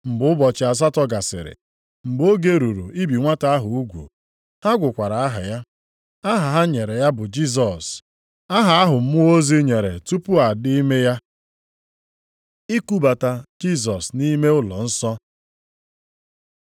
Mgbe ụbọchị asatọ gasịrị, mgbe oge ruru ibi nwata ahụ ugwu, ha gụkwara ya aha. Aha ha nyere ya bụ Jisọs, aha ahụ mmụọ ozi nyere tupu a dị ime ya. I kubata Jisọs nʼime ụlọnsọ